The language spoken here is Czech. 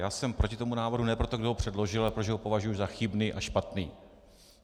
Já jsem proti tomu návrhu ne proto, kdo ho předložil, ale protože ho považuji za chybný a špatný.